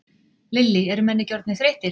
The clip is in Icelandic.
Lillý: Er menn ekki orðnir þreyttir?